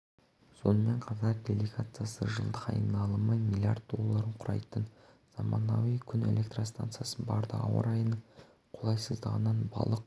сонымен қатар делегациясы жылдық айналымы млрд долларын құрайтын заманауи күн электростанциясына барды ауа райының қолайсыздығынан балық